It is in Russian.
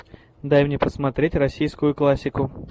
дай мне посмотреть российскую классику